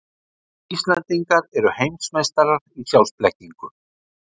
Íslendingar eru heimsmeistarar í sjálfsblekkingu.